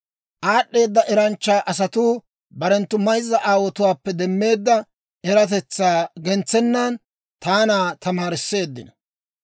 Aad'd'eeda eranchcha asatuu barenttu mayzza aawotuwaappe demmeedda eratetsaa gentsennan taana tamaarisseeddino.